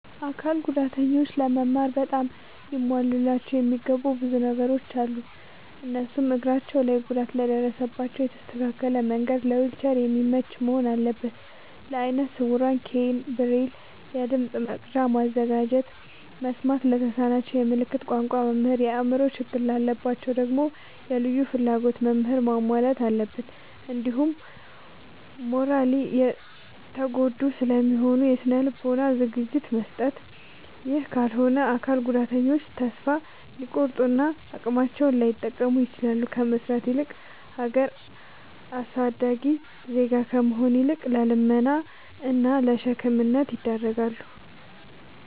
አካል ጉዳተኞች ለመማር በጣም ሊሟሉላቸው የሚገቡ ብዙ ነገሮ አሉ። እነሱም፦ እግራቸው ላይ ጉዳት ለደረሰባቸው የተስተካከለ መንድ ለዊልቸር የሚመች መሆን አለበት። ለአይነ ስውራን ኬይን፣ ብሬል፤ የድምፅ መቅጃ ማዘጋጀት፤ መስማት ለተሳናቸው የምልክት ቋንቋ መምህር፤ የአእምሮ ችግር ላለባቸው ደግሞ የልዩ ፍላጎት ምህራንን ማሟላት አለብትን። እንዲሁም ማራሊ የተጎዱ ስለሆኑ የስነ ልቦና ዝግጅት መስጠት። ይህ ካልሆነ አካል ጉዳተኞች ተሰፋ ሊቆርጡ እና አቅማቸውን ላይጠቀሙ ይችላሉ። ከመስራት እና ሀገር አሳዳጊ ዜጋ ከመሆን ይልቅ ለልመና እና ለሸክምነት ይዳረጋሉ።